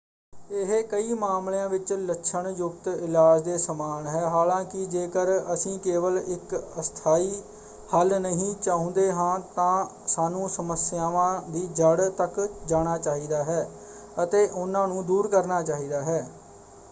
ਇਹ ਕਈ ਮਾਮਲਿਆਂ ਵਿੱਚ ਲੱਛਣ ਯੁਕਤ ਇਲਾਜ ਦੇ ਸਮਾਨ ਹੈ। ਹਾਲਾਂਕਿ ਜੇਕਰ ਅਸੀਂ ਕੇਵਲ ਇੱਕ ਅਸਥਾਈ ਹੱਲ ਨਹੀਂ ਚਾਹੁੰਦੇ ਹਾਂ ਤਾਂ ਸਾਨੂੰ ਸਮੱਸਿਆਵਾਂ ਦੀ ਜੜ੍ਹ ਤੱਕ ਜਾਣਾ ਚਾਹੀਦਾ ਹੈ ਅਤੇ ਉਹਨਾਂ ਨੂੰ ਦੂਰ ਕਰਨਾ ਚਾਹੀਦਾ ਹੈ।